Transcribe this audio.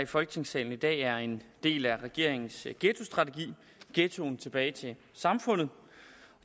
i folketingssalen i dag er en del af regeringens ghettostrategi ghettoen tilbage til samfundet